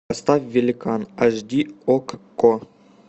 поставь великан аш ди окко